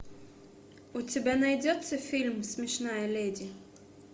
у тебя найдется фильм смешная леди